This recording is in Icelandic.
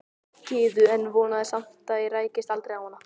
Gyðu en vonaði samt að ég rækist aldrei á hana.